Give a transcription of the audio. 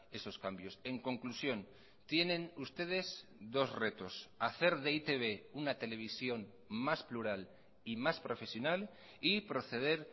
esos cambios en conclusión tienen ustedes dos retos hacer de e i te be una televisión más plural y más profesional y proceder